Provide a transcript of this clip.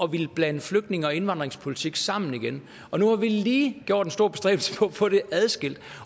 ville blande flygtninge og indvandringspolitik sammen igen nu har vi lige gjort en stor bestræbelse på at få det adskilt